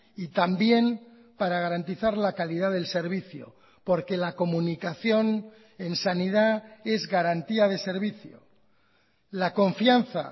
y también para garantizar la calidad del servicio porque la comunicación en sanidad es garantía de servicio la confianza